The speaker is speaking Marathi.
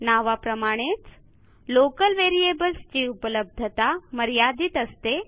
नावाप्रमाणेच लोकल व्हेरिएबल्स ची उपलब्धता मर्यादित असते